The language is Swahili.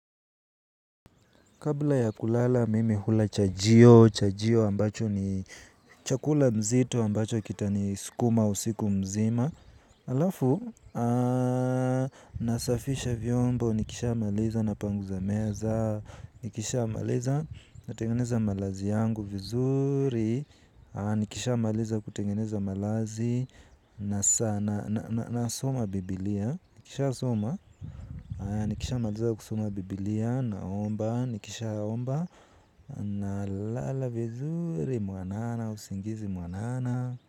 Kabla ya kulala mimi hula chajio, chajio ambacho ni chakula nzito ambacho kitanisukuma usiku mzima halafu, nasafisha vyombo, nikishamaliza napangusa meza, nikishamaliza natengeneza malazi yangu vizuri. Nikishamaliza kutengeneza malazi nasoma biblia. Nikishasoma nikishamaliza kusoma biblia naomba. Nikishaaomba nalala vizuri mwanana. Usingizi mwanana.